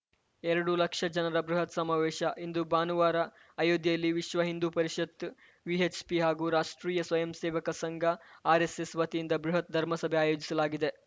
ಎರಡು ಲಕ್ಷ ಜನರ ಬೃಹತ್‌ ಸಮಾವೇಶ ಇಂದು ಭಾನುವಾರ ಅಯೋಧ್ಯೆಯಲ್ಲಿ ವಿಶ್ವ ಹಿಂದು ಪರಿಷತ್‌ ವಿಎಚ್‌ಪಿ ಹಾಗೂ ರಾಷ್ಟ್ರೀಯ ಸ್ವಯಂ ಸೇವಕ ಸಂಘ ಆರ್‌ಎಸ್‌ಎಸ್‌ ವತಿಯಿಂದ ಬೃಹತ್‌ ಧರ್ಮಸಭೆ ಆಯೋಜಿಸಲಾಗಿದೆ